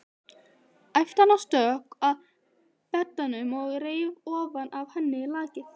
æpti hann og stökk að beddanum og reif ofan af henni lakið.